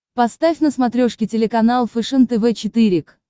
поставь на смотрешке телеканал фэшен тв четыре к